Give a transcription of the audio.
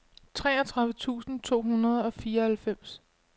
treogtredive tusind to hundrede og fireoghalvfems